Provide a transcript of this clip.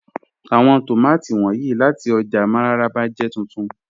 Àwọn tómátí wọnyí láti ọ́jà Mararaba jẹ́ túntún.